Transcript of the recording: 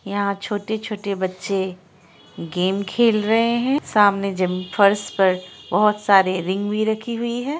यहाँ छोटे छोटे बच्चे गेम खेल रहे है सामने जिम फर्श पर बोहत सारे रिंग भी रखी हुई है ।